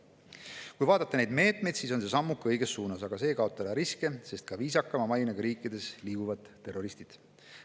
Kui vaadata neid meetmeid, siis on see sammuke õiges suunas, aga see ei kaota ära riske, sest ka viisakama mainega riikides liiguvad terroristid.